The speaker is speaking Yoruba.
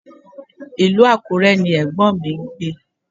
Ilú Àkúrẹ ni ẹ̀gbọ́m mi gbé